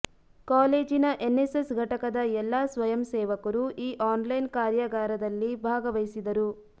ಕಾಲೇಜಿನ ಎನ್ನೆಸ್ಸೆಸ್ ಘಟಕದ ಎಲ್ಲಾ ಸ್ವಯಂಸೇವಕರು ಈ ಆನ್ ಲೈನ್ಕಾರ್ಯಾಗಾರದಲ್ಲಿ ಭಾಗವಹಿಸಿದರು